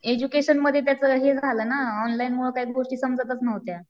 Education मध्ये त्याचं हे झालं ना ऑनलाईन गोष्टी काही समजतच नव्हत्या.